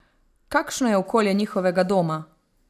Kakšno je okolje njihovega doma?